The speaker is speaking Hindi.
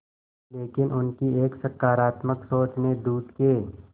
लेकिन उनकी एक सकरात्मक सोच ने दूध के